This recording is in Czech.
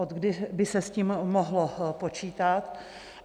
Odkdy by se s tím mohlo počítat?